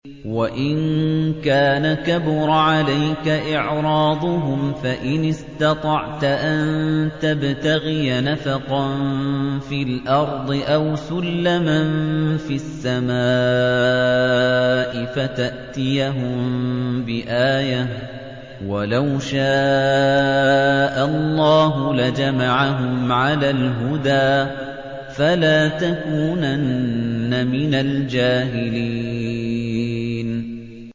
وَإِن كَانَ كَبُرَ عَلَيْكَ إِعْرَاضُهُمْ فَإِنِ اسْتَطَعْتَ أَن تَبْتَغِيَ نَفَقًا فِي الْأَرْضِ أَوْ سُلَّمًا فِي السَّمَاءِ فَتَأْتِيَهُم بِآيَةٍ ۚ وَلَوْ شَاءَ اللَّهُ لَجَمَعَهُمْ عَلَى الْهُدَىٰ ۚ فَلَا تَكُونَنَّ مِنَ الْجَاهِلِينَ